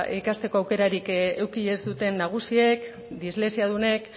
ikasteko aukerarik eduki ez duten nagusiek dislexiadunek